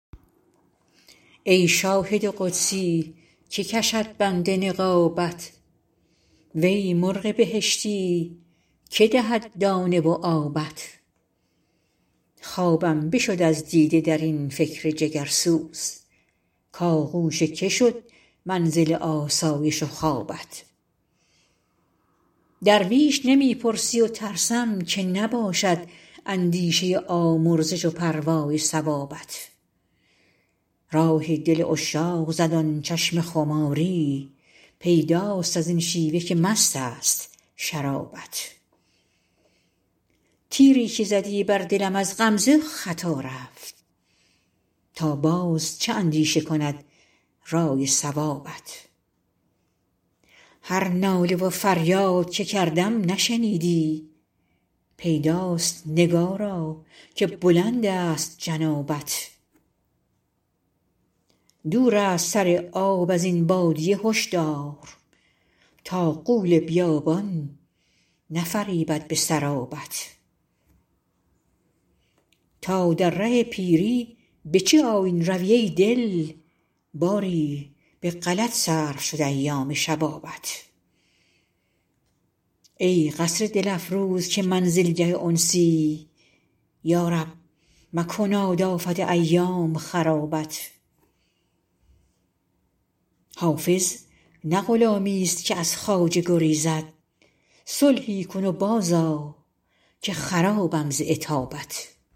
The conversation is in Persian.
ای شاهد قدسی که کشد بند نقابت وی مرغ بهشتی که دهد دانه و آبت خوابم بشد از دیده در این فکر جگرسوز کآغوش که شد منزل آسایش و خوابت درویش نمی پرسی و ترسم که نباشد اندیشه آمرزش و پروای ثوابت راه دل عشاق زد آن چشم خماری پیداست از این شیوه که مست است شرابت تیری که زدی بر دلم از غمزه خطا رفت تا باز چه اندیشه کند رأی صوابت هر ناله و فریاد که کردم نشنیدی پیداست نگارا که بلند است جنابت دور است سر آب از این بادیه هشدار تا غول بیابان نفریبد به سرابت تا در ره پیری به چه آیین روی ای دل باری به غلط صرف شد ایام شبابت ای قصر دل افروز که منزلگه انسی یا رب مکناد آفت ایام خرابت حافظ نه غلامیست که از خواجه گریزد صلحی کن و بازآ که خرابم ز عتابت